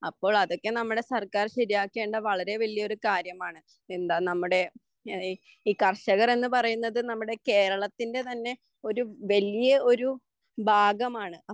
അപ്പോൾ അതൊക്കെ നമ്മുടെ സർക്കാർ ശരിയാക്കേണ്ട വളരെ വലിയൊരു കാര്യമാണ് എന്താ നമ്മുടെ ഈ കർഷകർ എന്നുപറയുന്നത് നമ്മുടെ കേരളത്തിൻ്റെ തന്നെ ഒരു വെല്യ ഒരു ഭാഗമാണ്